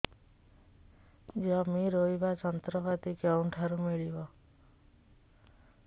ଜମି ରୋଇବା ଯନ୍ତ୍ରପାତି କେଉଁଠାରୁ ମିଳିବ